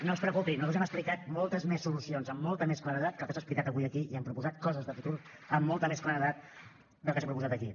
no es preocupi nosaltres hem explicat moltes més solucions amb molta més claredat que el que s’ha explicat avui aquí i hem proposat coses de futur amb molta més claredat del que s’ha proposat aquí